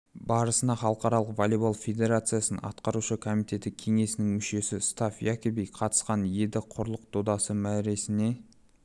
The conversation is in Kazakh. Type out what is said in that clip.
барысына халықаралық волейбол федерациясының атқарушы комитеті кеңесінің мүшесі став якоби қатысқан еді құрлық додасы мәресіне